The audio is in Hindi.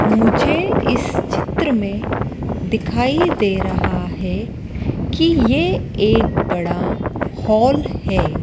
मुझे इस चित्र में दिखाई दे रहा है की ये एक बड़ा हॉल है।